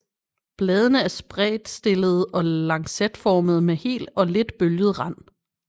Bladene er spredtstillede og lancetformede med hel og lidt bølget rand